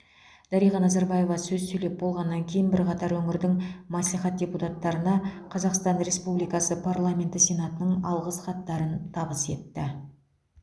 дариға назарбаева сөз сөйлеп болғаннан кейін бірқатар өңірдің мәслихат депутаттарына қазақстан республикасы парламенті сенатының алғыс хаттарын табыс етті